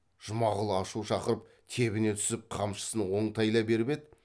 жұмағұл ашу шақырып тебіне түсіп қамшысын оңтайлай беріп еді